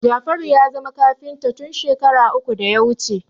Jafaru ya zama kafinta tun shekara uku da ya wuce